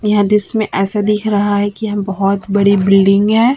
यह दृश्य ऐसा दिख रहा है कि हम बहोत बड़ी बिल्डिंग है।